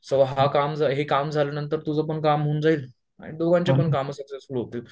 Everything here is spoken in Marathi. सो हा काम हे काम झाल्यानंतर तुझं पण काम होऊन जाईल आणि दोघांचे पण कामं सक्सेसफुल होतील